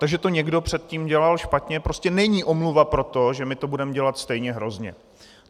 To, že to někdo předtím dělal špatně, prostě není omluva pro to, že my to budeme dělat stejně hrozně.